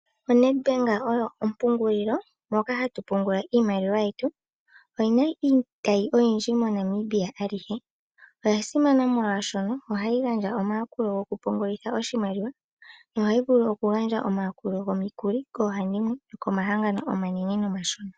ONed bank oyo ompungulilo moka hatu pungula iimaliwa yetu oyina iitayi oyindji moNamibia alihe, oyasimana molwashono ohayi gandja omayakulo gokupungulitha oshimaliwa, nohayi vulu oku gandja omayakuli gomikuli koohandimwe, komahangano omanene nomashona